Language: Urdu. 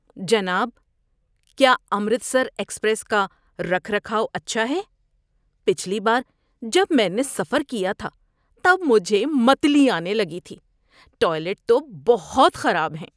جناب، کیا امرتسر ایکسپریس کا رکھ رکھاؤ اچھا ہے؟ پچھلی بار جب میں نے سفر کیا تھا تب مجھے متلی آنے لگی تھی۔ ٹوائلٹ تو بہت خراب ہیں۔